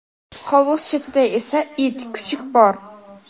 Hovuz chetida esa it (kuchuk) bor.